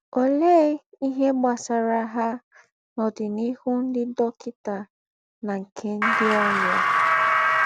Òléè íhe gbasàrà ha na ọ́dìnìhù ńdị́ dọ́kịtà na nke ńdị́ ọ́rịà?